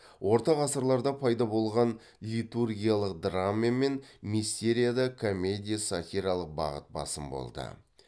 орта ғасырларда пайда болған литургиялық драма мен мистерияда комедия сатиралық бағыт басым болды